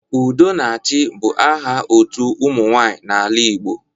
Udonachị bụ aha otu ụmụ nwaanyị n'ala Igbo